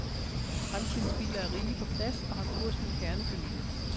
Fremtidens biler er rige på plads og har kurs mod kernefamilien.